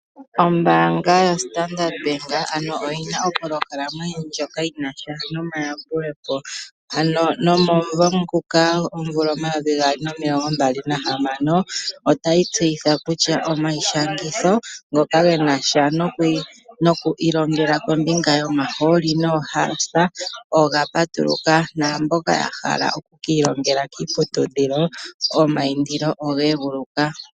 Ombaanga yoStandard Bank oyi na opolohalama ndjoka yi na sha nomayambulepo, ano nomomuvo nguka 2026 otayi tseyitha kutya omayishangitho ngoka ge na sha noku ilongela kombinga yomahooli noohaasa oga patuluka naamboka ya hala oku ka ilongela kiiputudhilo omaindilo oge eguluka.